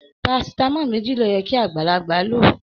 Parasitamọ méjì ló yẹ kí agbalagba ló.